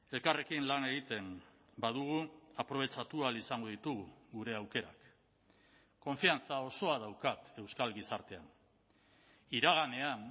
elkarrekin lan egiten badugu aprobetxatu ahal izango ditugu gure aukerak konfiantza osoa daukat euskal gizartean iraganean